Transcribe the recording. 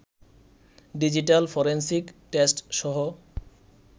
digital forensic test সহ